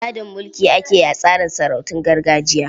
Gadon mulki ake yi a tsarin sarautun gargajiya.